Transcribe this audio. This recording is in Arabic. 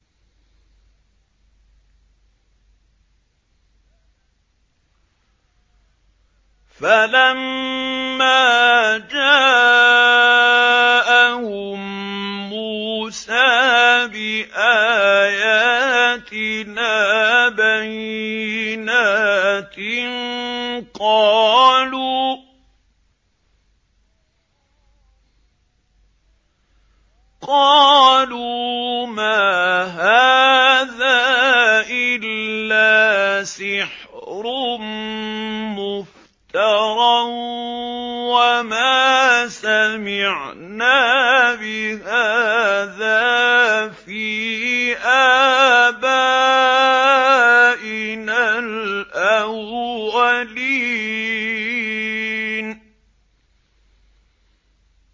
فَلَمَّا جَاءَهُم مُّوسَىٰ بِآيَاتِنَا بَيِّنَاتٍ قَالُوا مَا هَٰذَا إِلَّا سِحْرٌ مُّفْتَرًى وَمَا سَمِعْنَا بِهَٰذَا فِي آبَائِنَا الْأَوَّلِينَ